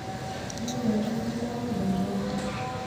nchooki enkare naok matooko